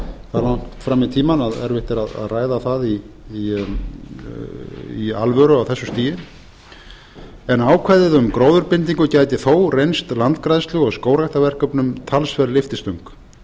það langt fram í tímann að erfitt er að ræða það í alvöru á þessu stigi en ákvæðið um gróðurbindingu gæti þó reynst landgræðslu og skógræktarverkefnum talsverð lyftistöng